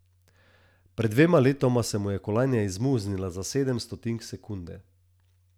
Pred dvema letoma se mu je kolajna izmuznila za sedem stotink sekunde.